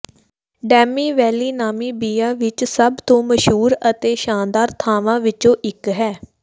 demi valley Namibia ਵਿੱਚ ਸਭ ਤੋਂ ਮਸ਼ਹੂਰ ਅਤੇ ਸ਼ਾਨਦਾਰ ਥਾਵਾਂ ਵਿੱਚੋਂ ਇੱਕ ਹੈ